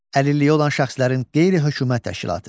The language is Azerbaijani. Əlilliyi olan şəxslərin qeyri-hökumət təşkilatı.